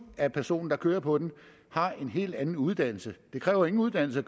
at personen der kører på den har en helt anden uddannelse det kræver ingen uddannelse